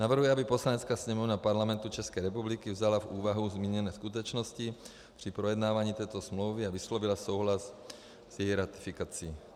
Navrhuji, aby Poslanecká sněmovna Parlamentu České republiky vzala v úvahu zmíněné skutečnosti při projednávání této smlouvy a vyslovila souhlas s její ratifikací.